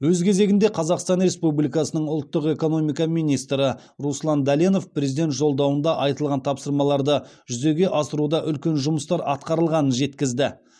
өз кезегінде қазақстан республикасының ұлттық экономика министрі руслан дәленов президент жолдауында айтылған тапсырмаларды жүзеге асыруда үлкен жұмыстар атқарылғанын жеткізді